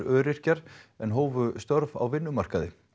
öryrkjar en hófu störf á vinnumarkaði